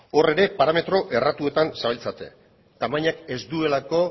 hor ere parametro erratuetan zabiltzate tamainak ez duelako